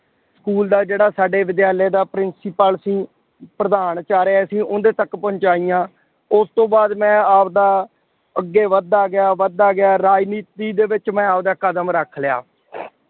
School ਦਾ ਜਿਹੜਾ ਸਾਡੇ ਵਿਦਿਆਲਿਆ ਦਾ principal ਸੀ। ਪ੍ਰਧਾਨ-ਚਾਰੇ ਅਸ਼ੀਂ ਉਹਦੇ ਤੱਕ ਪਹੁੰਚਾਈਆਂ। ਉਸ ਤੋਂ ਬਾਅਦ ਮੈਂ ਆਪਦਾ ਅੱਗੇ ਵੱਧਦਾ ਗਿਆ, ਵੱਧਦਾ ਗਿਆ, ਰਾਜਨੀਤੀ ਦੇ ਵਿੱਚ ਮੈਂ ਆਪਦਾ ਕਦਮ ਰੱਖ ਲਿਆ।